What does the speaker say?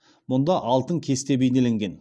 мұнда алтын кесте бейнеленген